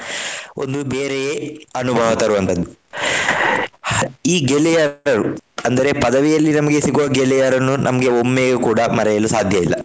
ಒಂದು ಬೇರೆಯೇ ಅನುಭವ ತರುವಂತದ್ದು. ಈ ಗೆಳೆಯರು ಅಂದರೆ ಪದವಿಯಲ್ಲಿ ನಮಗೆ ಸಿಗುವ ಗೆಳೆಯರನ್ನು ನಮ್ಗೆ ಒಮ್ಮೆಯು ಕೂಡ ಮರೆಯಲು ಸಾಧ್ಯ ಇಲ್ಲ.